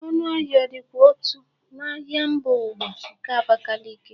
Ọnụ ahịa ọ dịkwa otu n'ahịa mba ụwa nke Abakiliki?